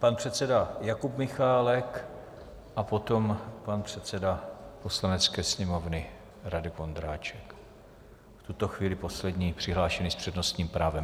Pan předseda Jakub Michálek a potom pan předseda Poslanecké sněmovny Radek Vondráček, v tuto chvíli poslední přihlášený s přednostním právem.